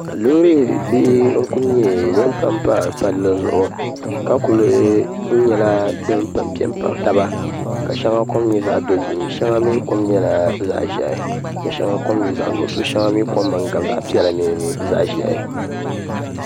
loori bihi n-kuli nyɛ din pampa palli zuɣu ka kuli nyɛ din pɛmpe m-baɣi taba ka shɛŋa kom nyɛ zaɣ' dozim shɛŋa mi kom nyɛla zaɣ' ʒɛhi ka shɛŋa kom nyɛ zaɣ' nuɣiso shɛŋa mi din kom gabi zaɣ' piɛla mini zaɣ' ʒɛhi